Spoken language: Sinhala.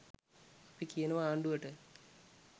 අපි කියනවා ආණ්ඩුවට